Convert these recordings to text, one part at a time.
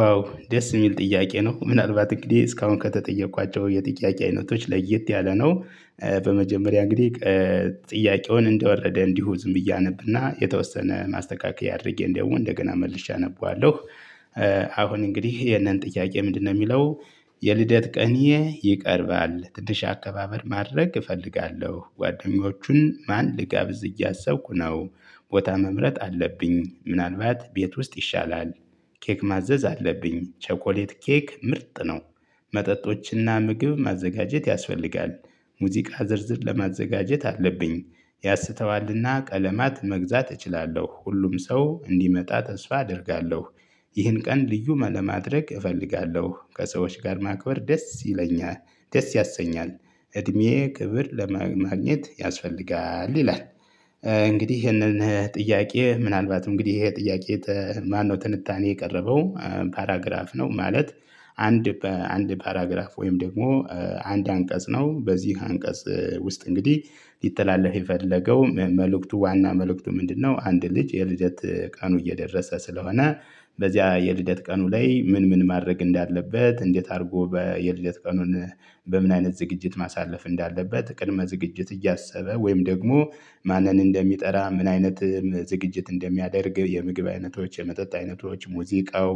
ዋው ደስ የሚል ጥያቄ ነው ምናልባት እንግዲህ እስካሁን ከተጠየቅኳቸው የጥያቄ አይነቶች ለየት ያለ ነው። በመጀመሪያ እንግዲህ ጥያቄውን እንደወረደ እንዲሁ ዝም ብዬ አነብና የተወሰነ ማስተካከያ አድርጌ እንደውም እንደገና መልሼ አነበዋለሁ። አሁን እንግዲህ የነን ጥያቄ ምንድነው የሚለው? የልደት ቀኔ ይቀርባል ትንሽ አከባበል ማድረግ እፈልጋለሁ ጓደኞቹን ማን ልጋብዝ እያሰብኩ ነው ቦታ መምረጥ አለብኝ ምናልባት ቤት ውስጥ ይሻላል ኬክ ማዘዝ አለብኝ ቸኮሌት ኬክ ምርጥ ነው መጠጦችና ምግብ ማዘጋጀት ያስፈልጋል ሙዚቃ ዝርዝር ለማዘጋጀት አለብኝ ያስተዋልና ቀለማት መግዛት እችላለሁ ሁሉም ሰው እንዲመጣ ተስፋ አደርጋለሁ። ይህን ቀን ልዩ ለማድረግ እፈልጋለሁ ከሰዎች ጋር ማክበር ደስ ይለኛል ደስ ያሰኛል እድሜ ክብር ለማግኘት ያስፈልጋል ይላል። እንግዲህ ይሄንን ጥያቄ ምናልባት እንግዲህ ይሄ ጥያቄ ማነው ትንታኔ የቀረበው ፓራግራፍ ነው ማለት። አንድ በአንድ ፓራግራፍ ወይም ደግሞ አንድ አንቀጽ ነው በዚህ አንቀጽ ውስጥ እንግዲህ ሊተላለፍ የፈለገው መልእክቱ ዋና መልእክቱ ምንድነው? አንድ ልጅ የልደት ቀኑ እየደረሰ ስለሆነ በዚያ የልደት ቀኑ ላይ ምን ምን ማድረግ እንዳለበት እንዴት አድርጎ የልደት ቀኑን በምን አይነት ዝግጅት ማሳለፍ እንዳለበት ቅድመ ዝግጅት እያሰበ ወይም ደግሞ ማንን እንደሚጠራ ምን አይነት ዝግጅት እንደሚያደርግ የምግብ አይነቶች የመጠጥ አይነቶች ሙዚቃው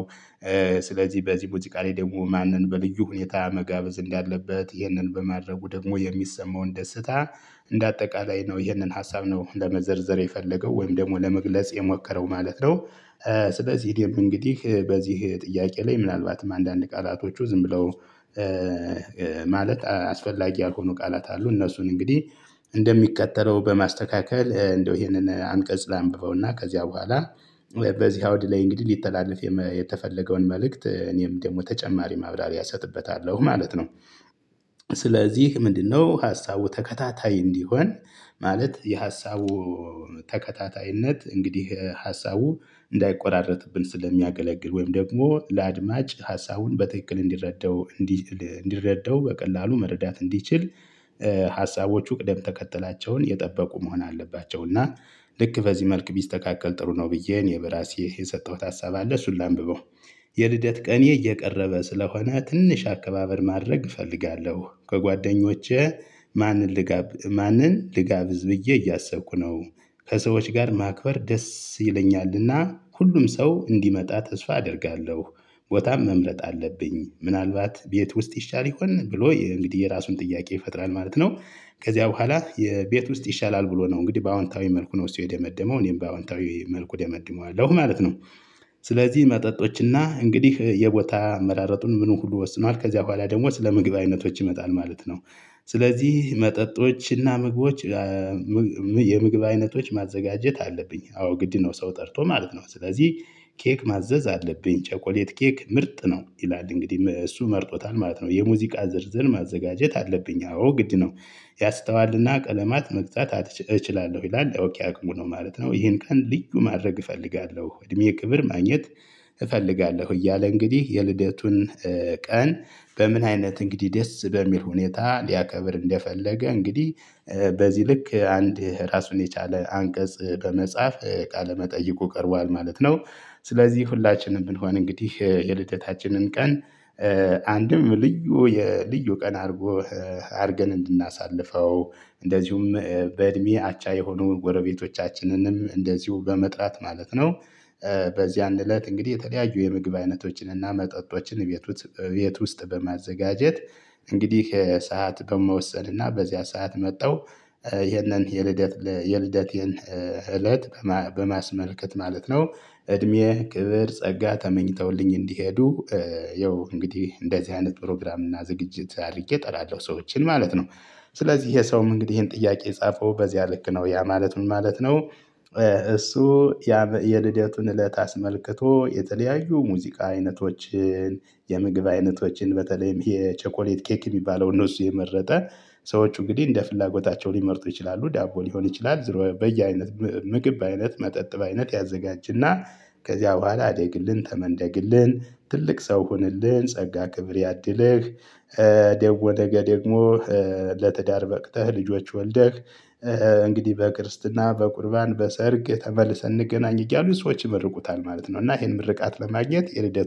ስለዚህ በዚህ ሙዚቃላይ ደግሞ ማንን በልዩ ሁኔታ መጋበዝ እንዳለበት ይህንን በማድረጉ ደግሞ የሚሰማውን ደስታ እንደ አጠቃላይ ነው ይህንን ሀሳብ ነው ለመዘርዘር የፈለገው ወይም ደግሞ ለመግለጽ የሞከረው ማለት ነው። ስለዚህ እንግዲህ በዚህ ጥያቄ ላይ ምናልባትም አንዳንድ ቃላቶቹ ዝም ብለው ማለት አስፈላጊ ያልሆኑ ቃላት አሉ እነሱን እንግዲህ እንደሚከተለው በማስተካከል እንደው ይሄንን አንቀጽ ላንብበውና ከዚያ በኋላ በዚህ አውድ ላይ እንግዲህ ሊተላለፍ የተፈለገውን መልእክት እኔም ደግሞ ተጨማሪ ማብራሪያ እሰጥበታለሁ ማለት ነው። ስለዚህ ምንድነው? ሀሳቡ ተከታታይ እንዲሆን ማለት የሀሳቡ ተከታታይነት እንግዲህ ሀሳቡ እንዳይቆራረጥብን ስለሚያገለግል ወይም ደግሞ ለአድማጭ ሀሳቡን በትክክል እንዲረዳው እንዲረዳው በቀላሉ መረዳት እንዲችል ሀሳቦቹ ቅደም ተከተላቸውን የጠበቁ መሆን አለባቸው እና። ልክ በዚህ መልክ ቢስተካከል ጥሩ ነው ብዬ እኔ በራሴ የሰጠሁት ሀሳብ አለ እሱን ላንብበው። የልደት ቀኔ እየቀረበ ስለሆነ ትንሽ አከባበር ማድረግ እፈልጋለሁ ከጓደኞቼ ማንን ልጋብ ማንን ልጋብዝ ብዬ እያሰብኩ ነው። ከሰዎች ጋር ማክበር ደስ ይለኛልና ሁሉም ሰው እንዲመጣ ተስፋ አደርጋለሁ። ቦታም መምረጥ አለብኝ ምናልባት ቤት ውስጥ ይሻል ይሆን ብሎ እንግዲህ የራሱን ጥያቄ ይፈጥራል ማለት ነው። ከዚያ በኋላ የቤት ውስጥ ይሻላል ብሎ ነው እንግዲህ በአዎንታዊ መልኩ ነው እሱ የደመደመው እኔም በአዎንታዊ መልኩ ደመድመዋለሁ ማለት ነው። ስለዚህ መጠጦችና እንግዲህ የቦታ አመራረጡን ምኑ ሁሉ ወስኗል ከዚያ በኋላ ደግሞ ስለመግባቢነቶች ይመጣል ማለት ነው። ስለዚህ መጠጦች እና ምግቦች የምግብ አይነቶች ማዘጋጀት አለብኝ። አዎ ግድ ነው ሰው ጠርቶ ማለት ነው። ስለዚህ ኬክ ማዘዝ አለብኝ ቸኮሌት ኬክ ምርጥ ነው ይላል እንግዲህ እሱ መርጦታል ማለት ነው። የሙዚቃ ዝርዝር ማዘጋጀት አለብኝ አዎ ግድ ነው። ያስተዋልና ቀለማት መግዛት እችላለሁ ይላል ኦኬ አቅሙ ነው ማለት ነው። ይሄን ቀን ልዩ ማድረግ እፈልጋለሁ እድሜ ክብር ማግኘት እፈልጋለሁ እያለ እንግዲህ የልደቱን ቀን በምን አይነት እንግዲህ ደስ በሚል ሁኔታ ሊያከብር እንደፈለገ እንግዲህ በዚህ ልክ አንድ ራሱን የቻለ አንቀጽ በመጻፍ ቃለ መጠይቁ ቀርቧል ማለት ነው። ስለዚህ ሁላችንም ብንሆን እንግዲህ የልደታችንን ቀን አንድም ልዩ የልዩ ቀን አድርገን እንድናሳልፈው እንደዚሁም በእድሜ አቻ የሆኑ ጎረቤቶቻችንንም እንደዚሁ በመጥራት ማለት ነው። በዚያን እለት እንግዲህ የተለያዩ የምግብ አይነቶችንና መጠጦችን ቤት ውስጥ በማዘጋጀት እንግዲህ ከሰአት በመወሰን እና በዚያ ሰዓት መተው ይህንን የልደት የልደቴን እለት በማስመልከት ማለት ነው እድሜ ክብር ጸጋ ተመኝተውልኝ እንዲሄዱ ያው እንግዲህ እንደዚህ አይነት ፕሮግራም እና ዝግጅት አድርጌ እጠራለሁ ሰዎችን ማለት ነው። ስለዚህ ይሄ ሰውም እንግዲህ ይሄን ጥያቄ የጻፈው በዚያ ልክ ነው ያ ማለት ምን ማለት ነው። እሱ የልደቱን እለት አስመልክቶ የተለያዩ ሙዚቃ አይነቶችን የምግብ አይነቶችን በተለይም የቸኮሌት ኬክ የሚባለውን እሱ የመረጠ ሰዎች እንግዲህ እንደ ፍላጎታቸው ሊመርጡ ይችላሉ ዳቦ ሊሆን ይችላል ዝሮ በየአይነት ምግብ አይነት መጠጥ በአይነት ያዘጋጅና ከዚያ በኋላ አደግልን ተመደግልን ትልቅ ሰው ሁንልን ጸጋ ክብር ያድልህ። ደግሞ ነገ ደግሞ ለትዳር በቅተህ ልጆች ወልደህ እንግዲህ በክርስትና በቁርባን በሰርግ ተመልሰን እንገናኝ እያሉ ሰዎች ይመርቁታል ማለት ነው። እና ይሄን ምርቃት ለማግኘት የልደት